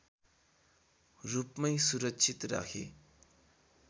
रूपमै सुरक्षित राखे